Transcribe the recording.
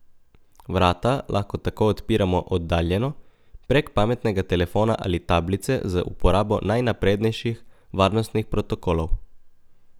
Vrata lahko tako odpiramo oddaljeno, prek pametnega telefona ali tablice z uporabo najnaprednejših varnostnih protokolov.